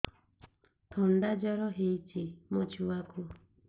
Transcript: ଥଣ୍ଡା ଜର ହେଇଚି ମୋ ଛୁଆକୁ